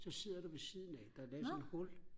så sidder du ved siden af der er lavet sådan et hul